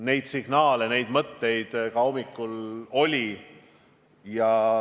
Neid signaale, neid mõtteid oli kuulda ka hommikul.